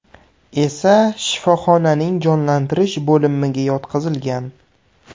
esa shifoxonaning jonlantirish bo‘limiga yotqizilgan.